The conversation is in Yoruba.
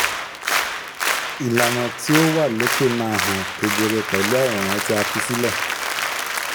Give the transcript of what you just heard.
ìlànà tí ó wà lókè má hàn kedere pẹ̀lú àwòrán tí a fi sílẹ̀